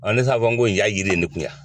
Ɔn ne t'a fɔ ko jaa yiri ye n kun yan.